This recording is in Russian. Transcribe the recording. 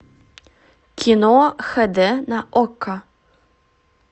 кино х д на окко